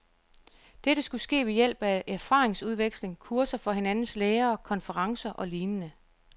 Dette skulle ske ved hjælp af erfaringsudveksling, kurser for hinandens lærere, konferencer og lignende.